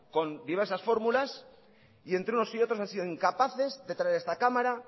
con diversas fórmulas y entre unos y otros han sido incapaces de traer a esta cámara